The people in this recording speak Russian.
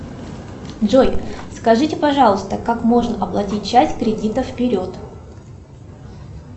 джой скажите пожалуйста как можно оплатить часть кредита вперед